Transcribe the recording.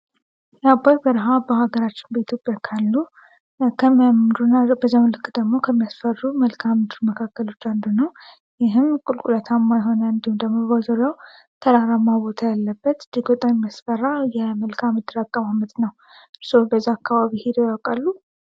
የአባይ በረሃ በኢትዮጵያ ውስጥ ካሉ ከሚያምሩ እና በዛም ልክ ከሚያስፈሩ ቦታዎች አንዱ ነው። ይህም ቁልቁለታማ የሆነ በዙሪያው ተራራ ያለበት እጅግ በጣም የሚያስፈራ የመልካምድር አቀማመጥ ነው። እርስዎ በዛ አከባቢ ሂደው ያውቃሉ?